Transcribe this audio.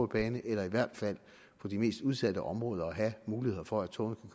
bane eller i hvert fald på de mest udsatte områder at have muligheder for at togene